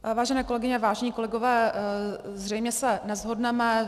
Vážené kolegyně, vážení kolegové, zřejmě se neshodneme.